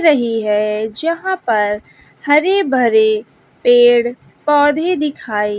रही है जहां पर हरे भरे पेड़ पौधे दिखाई--